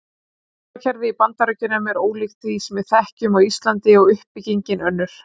Skólakerfið í Bandaríkjunum er ólíkt því sem við þekkjum á Íslandi og uppbyggingin önnur.